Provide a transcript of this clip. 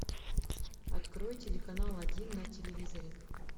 открой телеканал один на телевизоре